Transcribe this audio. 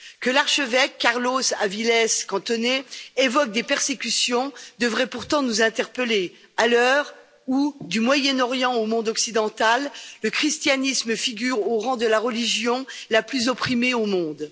Que l'archevêque Carlos Avilés Cantón évoque des persécutions devrait pourtant nous interpeller, à l'heure où, du Moyen Orient au monde occidental, le christianisme figure au rang de la religion la plus opprimée au monde.